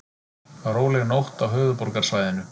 Róleg nótt á höfuðborgarsvæðinu